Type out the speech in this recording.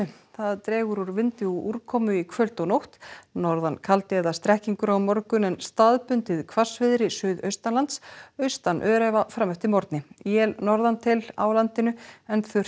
það dregur úr vindi og úrkomu í kvöld og nótt norðan kaldi eða strekkingur á morgun en staðbundið hvassviðri suðaustanlands austan öræfa fram eftir morgni él norðantil á landinu en þurrt